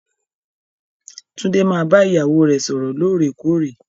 Tunde máa bá ìyàwó rẹ sọrọ lóòrèkóòrè.